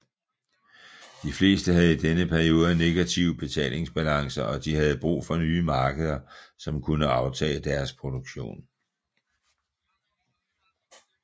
De fleste havde i denne periode negative betalingsbalancer og de havde brug for nye markeder som kunne aftage deres produktion